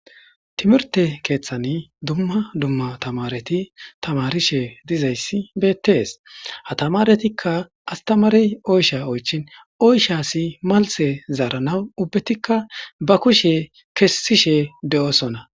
Timirte keeththani dumma dumma tamareti tamarishe dizayssi beettees hatamaretikka astamarey oysha oychin oyshasi malse zaaranaw ubbetikka ba kushe kessishe de7osona